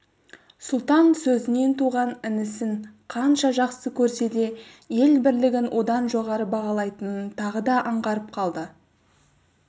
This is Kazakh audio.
сұлтан сөзінен туған інісін қанша жақсы көрсе де ел бірлігін одан жоғары бағалайтынын тағы да аңғарып қалды